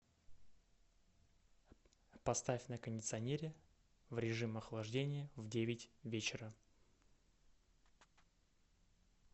поставь на кондиционере в режим охлаждения в девять вечера